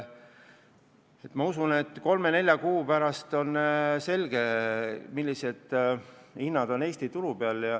Ma usun, et kolme-nelja kuu pärast on selge, millised hinnad Eesti turul on.